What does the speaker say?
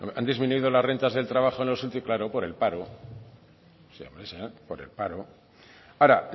han disminuido las renta del trabajo en los últimos claro por el paro o sea por el paro ahora